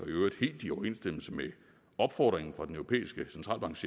øvrigt helt i overensstemmelse med opfordringen fra den europæiske centralbanks